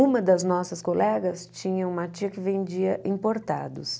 Uma das nossas colegas tinha uma tia que vendia importados.